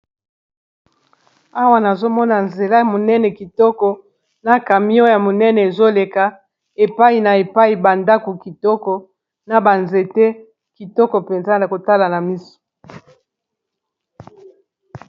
Awa nazomona nzela monene kitoko na camion ya monene ezoleka epai na epai ba ndako kitoko na ba nzete kitoko mpenza ya kotala na miso.